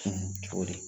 Cogo di